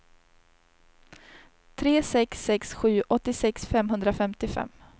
tre sex sex sju åttiosex femhundrafemtiofem